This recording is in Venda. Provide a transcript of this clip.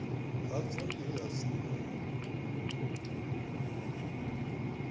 hadzo ndi he ha simuwa